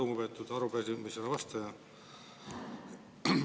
Lugupeetud arupärimisele vastaja!